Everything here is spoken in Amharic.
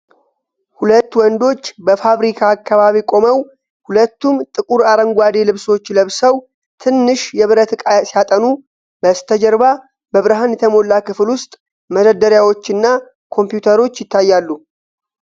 ሁለት ወንዶች በፋብሪካ አካባቢ ቆመው ። ሁለቱም ጥቁር አረንጓዴ ልብሶች ለብሰው ትንሽ የብረት ዕቃ ሲያጠኑ፣ በስተጀርባ በብርሃን የተሞላ ክፍል ውስጥ መደርደሪያዎችና ኮምፒውተሮች ይታያሉ።